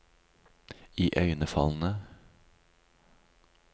iøynefallende